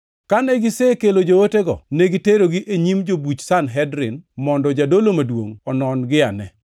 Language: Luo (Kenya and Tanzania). Kane gisekelo jootego, negiterogi e nyim jobuch Sanhedrin mondo jadolo maduongʼ onon-giane.